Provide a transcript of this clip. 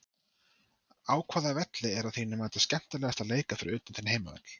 Á hvaða velli er að þínu mati skemmtilegast að leika fyrir utan þinn heimavöll?